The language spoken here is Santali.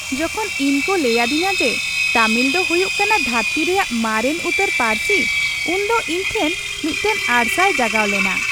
ᱡᱚᱠᱷᱚᱱ ᱤᱧ ᱠᱚ ᱞᱟᱹᱭ ᱟᱹᱫᱤᱧᱟ ᱡᱮ ᱛᱟᱢᱤᱞ ᱫᱚ ᱦᱩᱭᱩᱜ ᱠᱟᱱᱟ ᱫᱷᱟᱹᱨᱛᱤ ᱨᱮᱭᱟᱜ ᱢᱟᱨᱮᱱ ᱩᱛᱟᱹᱨ ᱯᱟᱹᱨᱥᱤ ᱩᱱ ᱫᱚ ᱤᱧ ᱴᱷᱮᱱ ᱢᱤᱫᱴᱟᱝ ᱟᱨᱥᱟᱞ ᱡᱟᱜᱟᱣ ᱞᱮᱱᱟ ᱾